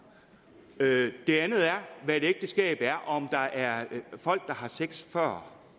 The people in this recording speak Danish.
det andet er hvad et ægteskab er om der er folk der har sex før